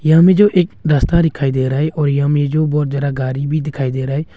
यहां में जो एक रास्ता दिखाई दे रहा है और यहां में जो बहोत ज्यादा गाड़ी भी दिखाई दे रहा है।